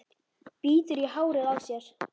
Bítur í hárið á sér.